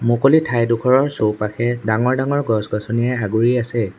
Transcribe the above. মুকলি ঠাই ডোখৰৰ চৌপাশে ডাঙৰ-ডাঙৰ গছ-গছনিৰে আগুৰি আছে।